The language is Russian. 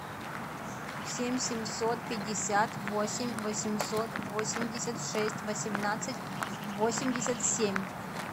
семь семьсот пятьдесят восемь восемьсот восемьдесят шесть восемнадцать восемьдесят семь